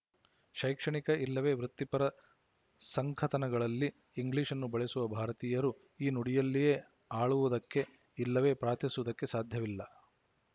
ಶೈಕ್ಷಣಿಕ ಇಲ್ಲವೇ ವೃತ್ತಿಪರ ಸಂಕಥನಗಳಲ್ಲಿ ಇಂಗ್ಲಿಶ್‌ನ್ನು ಬಳಸುವ ಭಾರತೀಯರು ಈ ನುಡಿಯಲ್ಲಿಯೇ ಆಳುವುದಕ್ಕೇ ಇಲ್ಲವೇ ಪ್ರಾರ್ಥಿಸುವುದಕ್ಕೆ ಸಾಧ್ಯವಿಲ್ಲ